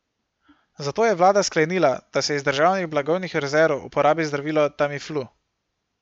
Zato je vlada sklenila, da se iz državnih blagovnih rezerv uporabi zdravilo Tamiflu.